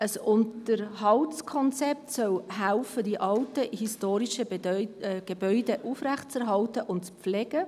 Ein Unterhaltskonzept soll helfen, die alten historischen Gebäude aufrechtzuerhalten und zu pflegen.